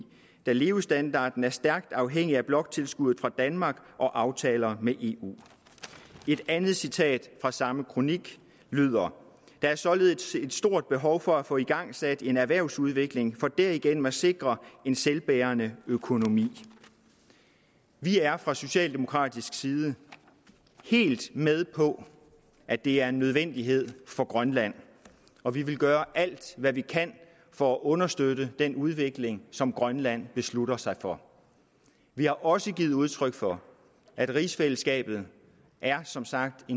da levestandarden er stærkt afhængig af bloktilskuddet fra danmark og aftaler med eu et andet citat fra samme kronik lyder der er således et stort behov for at få igangsat en erhvervsudvikling for derigennem at sikre en selvbærende økonomi vi er fra socialdemokratisk side helt med på at det er en nødvendighed for grønland og vi vil gøre alt hvad vi kan for at understøtte den udvikling som grønland beslutter sig for vi har også givet udtryk for at rigsfællesskabet som sagt